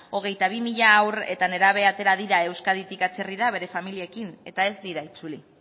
hogeita bi mila haur eta nerabe atera dira euskaditik atzerrira bere familiekin eta ez diru itzuli